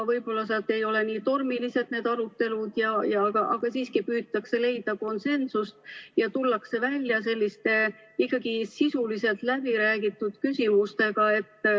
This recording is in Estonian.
Võib-olla seal ei ole need arutelud nii tormilised, aga siiski püütakse leida konsensust ja tullakse välja ikkagi sisuliselt läbiräägitud küsimustega.